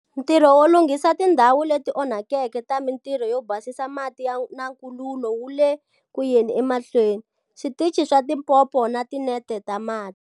Ntirho wo lunghisa tindhawu leti onhakeke ta mitirho yo basisa mati na nkululu wu le kuyeni emahlweni, switichi swa tipompo na tinete ta mati.